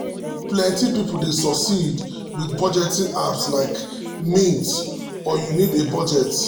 plenty people dey succeed with budgeting apps like mint or you need a budget.